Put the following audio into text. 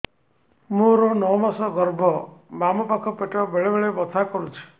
ମୋର ନଅ ମାସ ଗର୍ଭ ବାମ ପାଖ ପେଟ ବେଳେ ବେଳେ ବଥା କରୁଛି